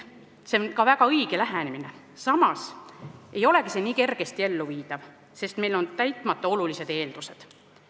See on väga õige lähenemine, kuid ei olegi samas nii kergesti elluviidav, sest meil on täitmata olulised eeldused.